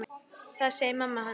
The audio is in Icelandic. Það segir mamma hans.